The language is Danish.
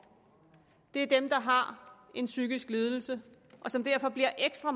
er dem der har en psykisk lidelse og som derfor bliver ekstra